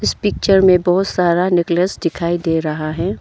इस पिक्चर में बहुत सारा नेकलेस दिखाई दे रहा है।